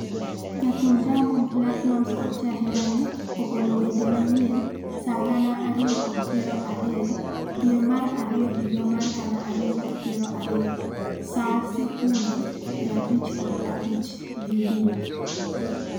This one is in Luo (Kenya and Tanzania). Jathum Diamond Platnumz kod jaherane ogolo wende manyien, Saa 2,0020 dwe mar ariyo higa mar 2020 saa 0:55 Video,